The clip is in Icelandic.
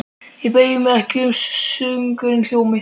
Ég beygi mig ekki þótt söngurinn hljómi